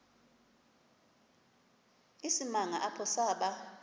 isimanga apho saba